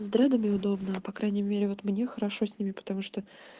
с дредами удобно по крайней мере вот мне хорошо с ними потому что